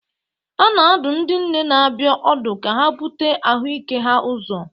A na-adụ ndị nne na-abịa ọdụ ka ha bute ahụike ha ụzọ.